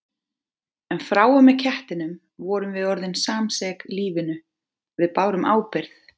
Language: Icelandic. En frá og með kettinum vorum við orðin samsek lífinu, við bárum ábyrgð.